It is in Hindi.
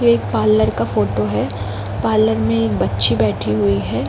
ये एक पार्लर का फोटो है। पार्लर में एक बच्ची बैठी हुई है।